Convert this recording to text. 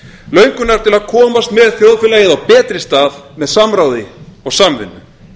löngunar til að komast með þjóðfélagið á betri stað með samráði og samvinnu